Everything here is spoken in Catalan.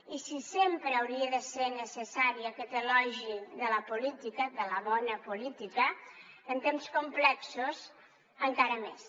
i si sempre hauria de ser necessari aquest elogi de la política de la bona política en temps complexos encara més